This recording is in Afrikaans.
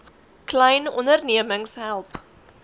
klein ondernemings help